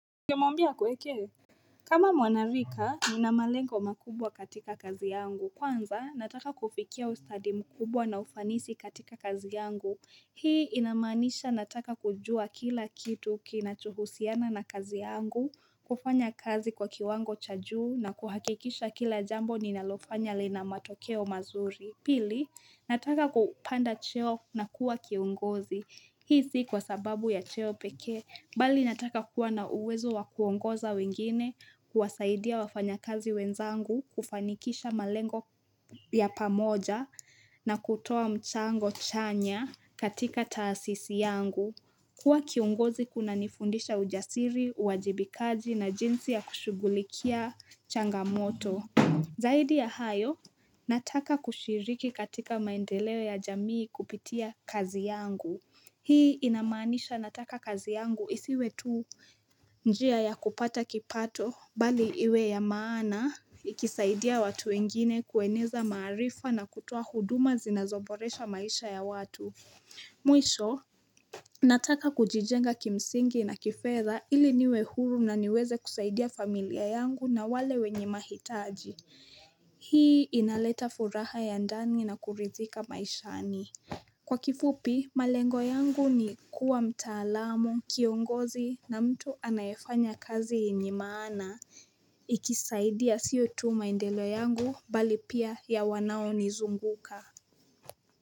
Ungemwambia akuwekee kama mwana lika, nina malengo makubwa katika kazi yangu. Kwanza, nataka kufikia ustadi mkubwa na ufanisi katika kazi yangu. Hii inamaanisha nataka kujua kila kitu kinachohusiana na kazi yangu, kufanya kazi kwa kiwango cha juu na kuhakikisha kila jambo ninalofanya lina matokeo mazuri. Pili, nataka kupanda cheo na kuwa kiongozi. Hii si kwa sababu ya cheo pekee. Bali nataka kuwa na uwezo wa kuongoza wengine, kuwasaidia wafanyakazi wenzangu, kufanikisha malengo ya pamoja na kutoa mchango chanya katika taasisi yangu. Kuwa kiongozi kunanifundisha ujasiri, uajibikaji na jinsi ya kushugulikia changamoto. Zaidi ya hayo, nataka kushiriki katika maendeleo ya jamii kupitia kazi yangu. Hii inamaanisha nataka kazi yangu isiwe tu njia ya kupata kipato bali iwe ya maana ikisaidia watu wengine kueneza maarifa na kutoa huduma zinazoboresha maisha ya watu. Mwisho, nataka kujijenga kimsingi na kifedha ili niwe huru na niweze kusaidia familia yangu na wale wenye mahitaji. Hii inaleta furaha ya ndani na kurithika maishani. Kwa kifupi, malengo yangu ni kuwa mtaalamu, kiongozi na mtu anayefanya kazi yenye maana. Ikisaidia sio tu maendelo yangu bali pia ya wanao nizunguka.